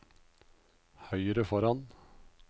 høyre foran